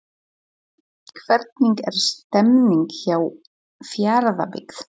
Hvernig er stemningin hjá Fjarðabyggð?